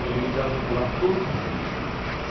Eu lia o Diário Popular todos os dias.